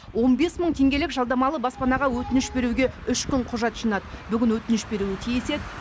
он бес мың теңгелік жалдамалы баспанаға өтініш беруге үш күн құжат жинады бүгін өтініш беруі тиіс еді